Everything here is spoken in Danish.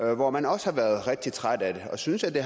hvor man også har været rigtig trætte af det og synes at det